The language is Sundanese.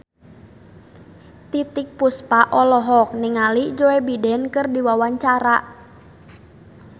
Titiek Puspa olohok ningali Joe Biden keur diwawancara